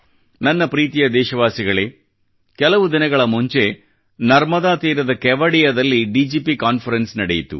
ನನ್ನ ಪ್ರೀತಿಯ ದೇಶವಾಸಿಗಳೇ ಕೆಲವು ದಿನಗಳ ಮುಂಚೆ ನರ್ಮದಾ ತೀರದ ಕೆವಡಿಯದಲ್ಲಿ ಡಿಜಿಪಿ ಕಾನ್ಫರೆನ್ಸ್ ನಡೆಯಿತು